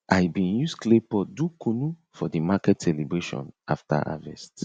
i bin use clay pot do kunu for the maket celebration after harvest